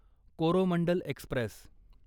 Coromandel Express